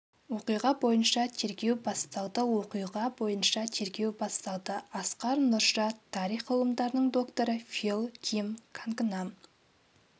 оқиға бойынша тергеу басталды оқиға бойынша тергеу басталды асқар нұрша тарих ғылымдарының докторы фил ким кангнам